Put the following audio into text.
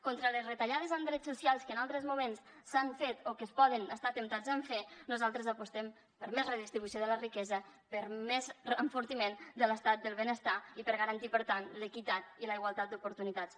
contra les retallades en drets socials que en altres moments s’han fet o que es pot estar temptat de fer nosaltres apostem per més redistribució de la riquesa per més enfortiment de l’estat del benestar i per garantir per tant l’equitat i la igualtat d’oportunitats